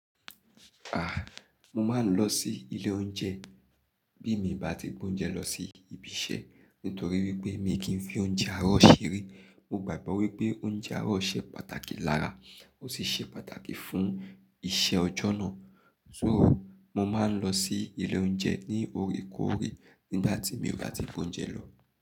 À, mo máa ń lọ sí ilé oúnjẹ bí mi bá ti gbé oúnjẹ lọ sí ibi iṣẹ́ nítorí wípé mi kì í fi oúnjẹ àárọ̀ ṣeré. Mo gbàgbọ́ wípé oúnjẹ àárọ̀ ṣe pàtàkì lára ó sì ṣe pàtàkì fún iṣẹ́ ọjọ́ náà. So mo máa ń lọ sí ilé oúnjẹ ní òrekòòré nígbà tí mi o bá ti gbé oúnjẹ lọ.